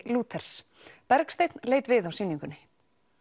Lúthers Bergsteinn leit við á sýningunni